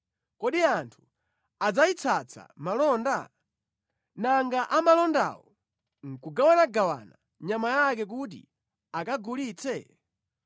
Kodi anthu adzayitsatsa malonda? Nanga amalondawo nʼkugawanagawana nyama yake kuti akagulitse?